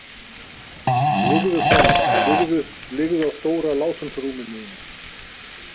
Liggðu, kona, liggðu- liggðu á stóra látúnsrúminu mínu.